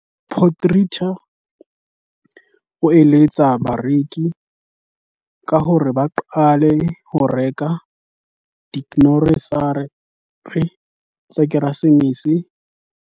Potgieter o eletsa bareki ka hore ba qale ho reka digrosare tsa Keresemese ho sa kganya ba be ba netefatse hore ba tlatsa dihatsetsi le diphaposi tsa bona tsa polokelo ya dijo ka metswako e tla dula nako e telele, ho boloka ditekanyetso tsa bona tsa ditjhelete di le taolong esita le ho qoba boturu ba ho reka ka motsotso wa ho qetela.